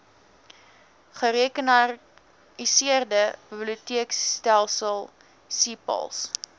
gerekenariseerde biblioteekstelsel cpals